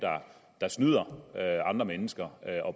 der snyder andre mennesker